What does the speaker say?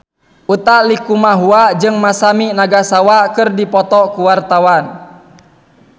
Utha Likumahua jeung Masami Nagasawa keur dipoto ku wartawan